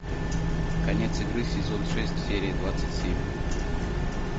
конец игры сезон шесть серия двадцать семь